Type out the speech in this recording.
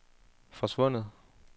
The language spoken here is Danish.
forsvundet